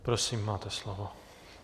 Prosím, máte slovo.